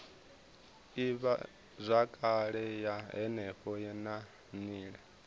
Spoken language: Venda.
ivhazwakale ya henefho na nila